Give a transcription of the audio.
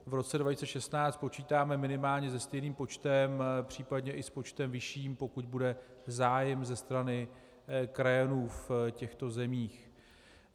V roce 2016 počítáme minimálně se stejným počtem, případně i s počtem vyšším, pokud bude zájem ze strany krajanů v těchto zemích.